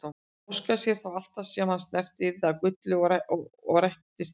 Hann óskaði sér þá að allt sem hann snerti yrði að gulli og rættist óskin.